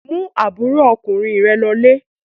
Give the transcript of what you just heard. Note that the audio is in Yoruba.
Mú àbúrò ọkùnrin rẹ lọlé!